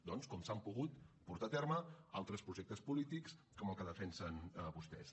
doncs com s’han pogut portar a terme altres projectes polítics com el que defensen vostès